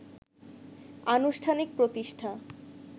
আনুষ্ঠানিক প্রতিষ্ঠা